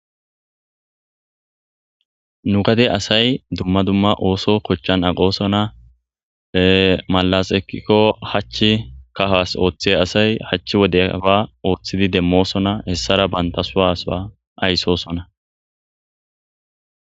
nu gade asay dumma dumma ooso kochchan aqosona malas eqikko hachch kahas ooththe asay hachch wodeba ooththidi demmosona hessara banta sowa sowa ayssosona